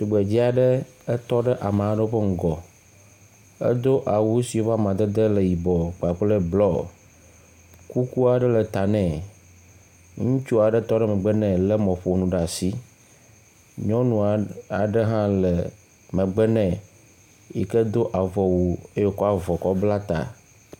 Tugbedzea ɖe etɔ ɖe ame aɖe ƒe ŋgɔ. Edo awu si eƒe amadede le yibɔ kpakple blu. Kukua aɖe le ta nɛ. Ŋutsua aɖe tɔ ɖe megbe nɖ he le mɔƒonu ɖe asi. Nyunua aɖe hã le megbe nɛ yike do avɔ wu ye wokɔ avɔ kɔ bla ta.